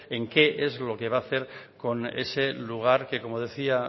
en qué es lo que va a hacer con ese lugar que como decía